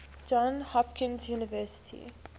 johns hopkins university